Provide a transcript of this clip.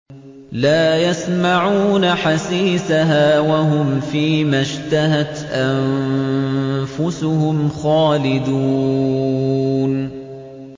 لَا يَسْمَعُونَ حَسِيسَهَا ۖ وَهُمْ فِي مَا اشْتَهَتْ أَنفُسُهُمْ خَالِدُونَ